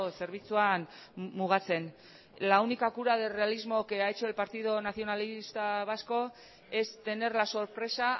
zerbitzuan mugatzen la única cura de realismo que ha hecho el partido nacionalista vasco es tener la sorpresa